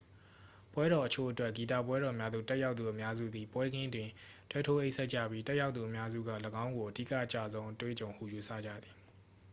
ပွဲတော်အချို့အတွက် ဂီတပွဲတော်များသို့ တက်ရောက်သူအများစုသည် ပွဲခင်းတွင် တဲထိုးအိပ်စက်ကြပြီး တက်ရောက်သူအများစုက ၎င်းကို အဓိက အကျဆုံး အတွေ့အကြုံဟု ယူဆကြသည်